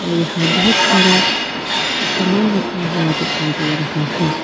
यहाँ बहुत सारा सामान रखा हुआ दिखाई दे रहा है।